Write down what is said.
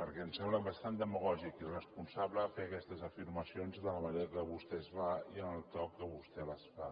perquè em sembla bastant demagògic i irresponsable fer aquestes afirmacions de la manera que vostè les fa i amb el to amb què vostè les fa